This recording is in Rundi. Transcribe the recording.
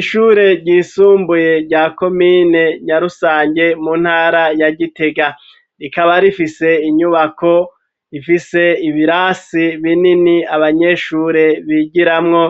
Ishure ryisumbuye rya komine Nyarusange mu ntara ya Gitega rikaba rifise inyubako ifise ibirasi binini abanyeshure bigiramwo